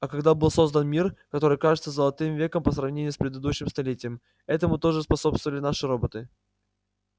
а когда был создан мир который кажется золотым веком по сравнению с предыдущим столетием этому тоже способствовали наши роботы